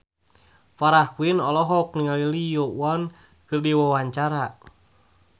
Farah Quinn olohok ningali Lee Yo Won keur diwawancara